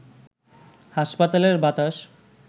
হাসপাতালের বাতাস